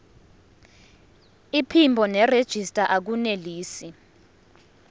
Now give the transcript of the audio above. iphimbo nerejista akunelisi